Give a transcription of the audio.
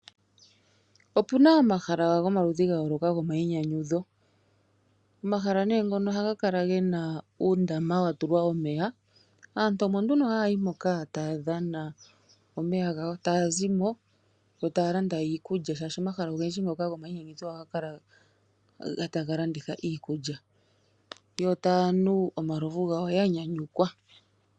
Opuna omahala gomaludhi gayooloka gomayinyanyudho. Omahala nee ngono ohaga kala gena uundama watulwa omeya. Aantu omo nduno haya yi moka taya dhana omeya gawo, sho taya zimo yo taya landa iikulya yawo, oshoka omahala ogendji ngono gomayinyanyudho ohaga kala taga landitha iikulya, yo taya nu omalovu gawo yanyanyukwa.